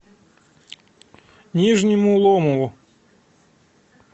нижнему ломову